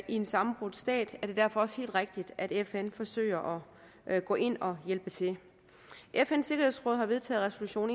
en sammenbrudt stat er det derfor også helt rigtigt at fn forsøger at gå ind og hjælpe til fns sikkerhedsråd har vedtaget resolution